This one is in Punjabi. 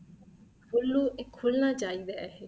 ਖੁਲੂ ਇਹ ਖੁੱਲਣਾ ਚਾਹੀਦਾ ਹੈ ਏ